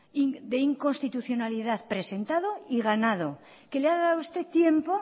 de inconstitucionalidad presentado y ganado que le ha dado a usted tiempo